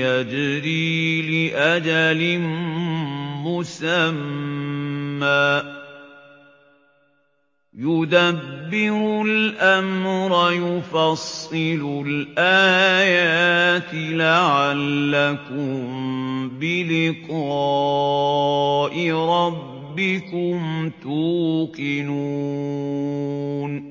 يَجْرِي لِأَجَلٍ مُّسَمًّى ۚ يُدَبِّرُ الْأَمْرَ يُفَصِّلُ الْآيَاتِ لَعَلَّكُم بِلِقَاءِ رَبِّكُمْ تُوقِنُونَ